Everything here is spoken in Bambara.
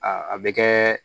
Aa a bɛ kɛ